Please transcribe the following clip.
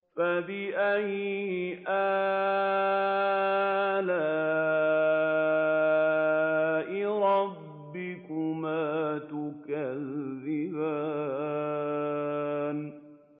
فَبِأَيِّ آلَاءِ رَبِّكُمَا تُكَذِّبَانِ